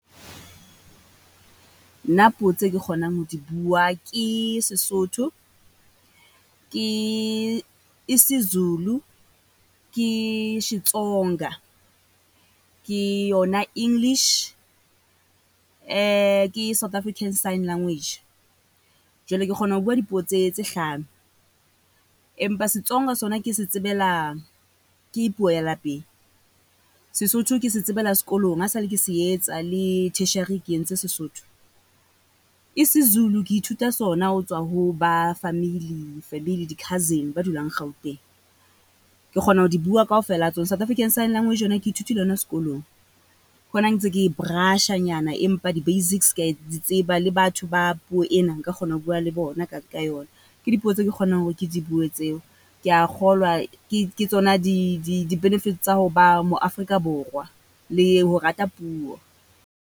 Nna puo tse ke kgonang ho di bua ke Sesotho, ke Isizulu, ke Xitsonga, ke yona English, ke South Africans sign language. Jwale ke kgona ho bua dipuo tse tse hlano. Empa Xitsonga sona ke se tsebela, ke puo ya lapeng. Sesotho ke se tsebela sekolong. Ha e sa le ke se etsa le tertiary ke entse Sesotho. Isizulu ke ithuta sona ho tswa ho ba family family di-cousin ba dulang Gauteng. Ke kgona ho di bua kaofela ha , South African sign language yona ke ithutile yona skolong. Ke ho na ntse ke brush-anyana empa the basics ke ya di tseba, le batho ba puo ena nka kgona ho bua le bona ka ka yona. Ke dipuo tseo ke kgonang hore ke di bue tseo. Ke ya kgolwa ke ke tsona di di di-benefits tsa ho ba mo Afrika Borwa le ho rata puo.